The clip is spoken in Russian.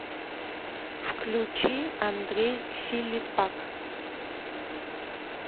включи андрей филиппак